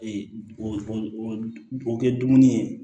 Ee o o kɛ dumuni ye